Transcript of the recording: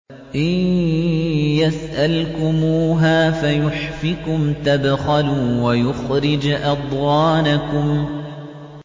إِن يَسْأَلْكُمُوهَا فَيُحْفِكُمْ تَبْخَلُوا وَيُخْرِجْ أَضْغَانَكُمْ